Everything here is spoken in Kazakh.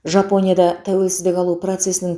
жапония да тәуелсіздік алу процесінің